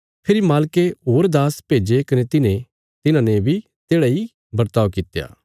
फेरी मालके होर दास भेज्जे कने तिन्हें तिन्हाने बी तेढ़ा इ बर्ताव कित्या